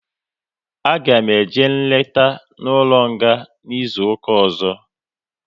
A ga eme eje nleta n'ụlọ nga n'izuka ọzọ